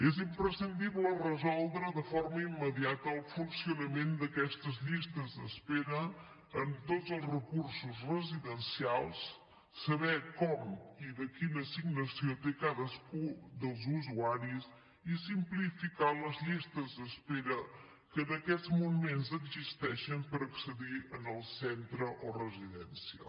és imprescindible resoldre de forma immediata el funcionament d’aquestes llistes d’espera en tots els recursos residencials saber com i quina assignació té cadascun dels usuaris i simplificar les llistes d’espera que en aquests moments existeixen per accedir al centre o residència